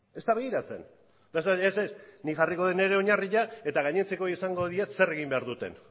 ez da begiratzen ez ez nik jarriko det nire oinarria eta gainontzekoei esango diet zer egin behar duten